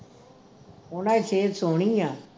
ਉਨ੍ਹਾਂ ਦੀ ਸਿਹਤ ਸੋਹਣੀ ਆ